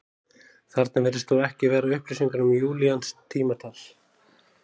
Þarna virðast þó ekki vera upplýsingar um júlíanskt tímatal.